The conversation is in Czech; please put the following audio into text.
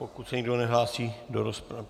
Pokud se nikdo nehlásí do rozpravy...